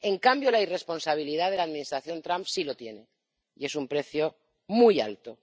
En cambio la irresponsabilidad de la Administración Trump sí lo tiene, y es un precio muy alto.